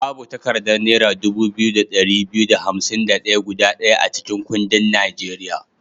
Babu takaddar naira dubu biyu da ɗari biyu da hansim da ɗaya guda ɗaya a cikin kuɗin Nigeria.